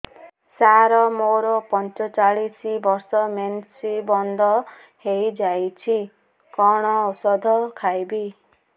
ସାର ମୋର ପଞ୍ଚଚାଳିଶି ବର୍ଷ ମେନ୍ସେସ ବନ୍ଦ ହେଇଯାଇଛି କଣ ଓଷଦ ଖାଇବି